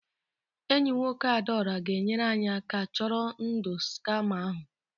Enyi nwoke Adaora ga-enyere anyị aka chọrọ ndụ skama ahụ